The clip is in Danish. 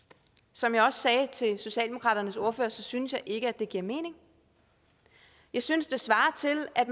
som jeg også sagde til socialdemokraternes ordfører synes jeg ikke at det giver mening jeg synes det svarer til at